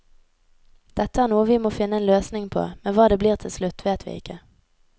Dette er noe vi må finne en løsning på, men hva det blir til slutt, vet vi ikke.